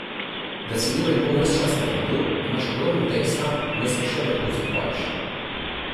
Da si uro in pol ves čas na odru, imaš ogromno teksta, vmes pa še vrhunsko poješ!